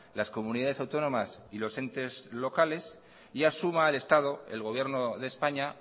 las comunidades autónomas y los entes locales y asuma el estado el gobierno de españa